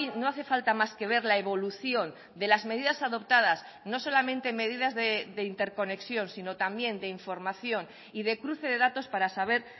no hace falta más que ver la evolución de las medidas adoptadas no solamente medidas de interconexión sino también de información y de cruce de datos para saber